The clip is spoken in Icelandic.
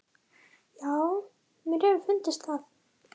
Já, mér hefur fundist það.